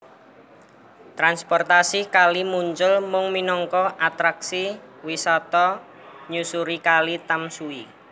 Transportasi kali muncul mung minangka atraksi wisata nyusuri Kali Tamsui